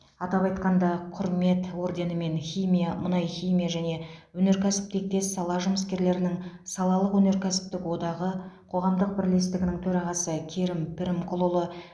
атап айтқанда құрмет орденімен химия мұнайхимия және өнеркәсіп тектес сала жұмыскерлерінің салалық кәсіптік одағы қоғамдық бірлестігінің төрағасы керім пірімқұлұлы